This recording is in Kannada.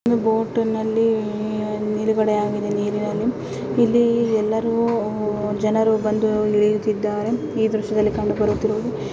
ಈ ಬೋಟ್ ನಲ್ಲಿ ನಿಲುಗಡೆ ಆಗಿದೆ ನೀರಿನಲ್ಲಿ ಇಲ್ಲಿ ಎಲ್ಲರೂ ಜನರು ಬಂದು ಇಳಿಯುತ್ತಿದಾರೆ ಈ ದೃಶ್ಯದಲ್ಲಿ ಕಂಡು ಬರುತ್ತಿರುವುದು.